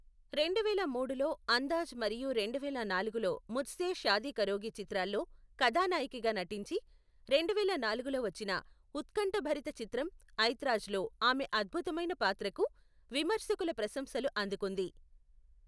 రెండువేల మూడులో అందాజ్ మరియు రెండువేల నాలుగులో ముజ్సే షాదీ కరోగి చిత్రాల్లో కథానాయకిగా నటించి, రెండువేల నాలుగులో వచ్చిన ఉత్కంఠభరిత చిత్రం ఐత్రాజ్లో ఆమె అద్భుతమైన పాత్రకు విమర్శకుల ప్రశంసలు అందుకుంది.